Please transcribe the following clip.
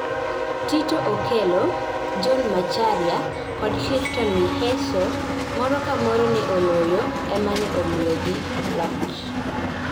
Tito Okello, John Macharia kod Clifton Miheso moro ka moro ne oloyo emane omiyogi loch